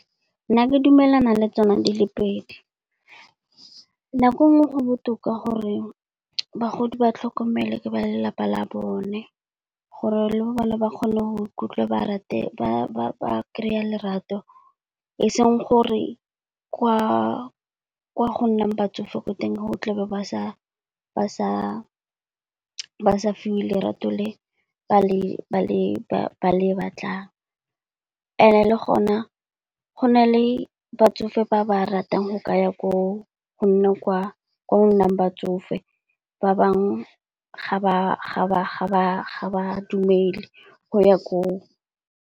Nna ke dumelana le tsona di le pedi. Nako e nngwe go botoka gore bagodi ba tlhokomele ke ba lelapa la bone, gore le bone ba kgone go ikutlwa ba kry-a lerato. E seng gore kwa go nnang batsofe ko teng, o tla be ba sa fiwe lerato le ba le batlang. And-e le gona go na le batsofe ba ba ratang go ka ya ko, go nna kwa go nnang batsofe, ba bangwe ga ba dumele go ya ko.